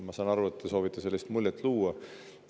Ma saan aru, et te soovite sellist muljet luua.